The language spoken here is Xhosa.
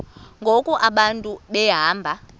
ngoku abantu behamba